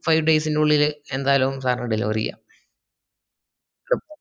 five days ൻറെ ഉള്ളിൽ എന്റാലും sir ന് deliver ചെയ്യാം